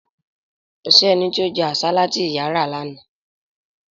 Kò sí ẹni tí ó jẹ́ àsálà tí ìyà ra lánàá